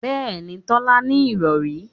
Bẹ́ẹ̀mi, Tolú ní ìrọ̀rí